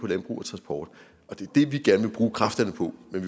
landbrug og transport og det er det vi gerne vil bruge kræfterne på men